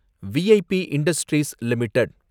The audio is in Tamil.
we I P industries limited